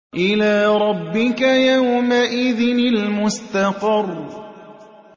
إِلَىٰ رَبِّكَ يَوْمَئِذٍ الْمُسْتَقَرُّ